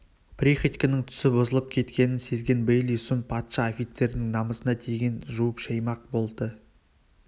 приходьконың түсі бұзылып кеткенін сезген бейли сұм патша офицерінің намысына тигенін жуып-шаймақ болды